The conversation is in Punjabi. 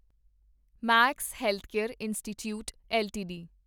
Max Healthcare Institute LTD